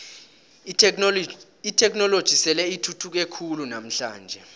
itheknoloji sele ithuthuke khulu namhlanje